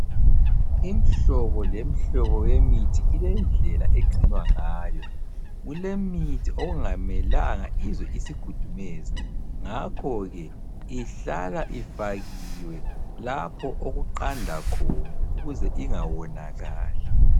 Imhlobo lemhlobo yemithi ilendlela egcinwa ngayo, kulemithi okungamelanga izwe isikhudumezi ngakhoke ihlala ifakiwe lapho okuqanda khona ukuze ingawonakali.